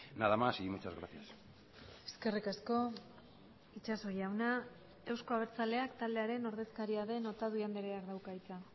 nada más y muchas gracias eskerrik asko itxaso jauna euzko abertzaleak taldearen ordezkaria den otadui andreak dauka hitza